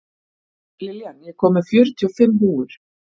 Lillian, ég kom með fjörutíu og fimm húfur!